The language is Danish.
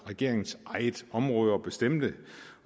regeringens eget område at bestemme